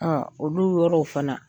Ɔ olu yɔrɔw fana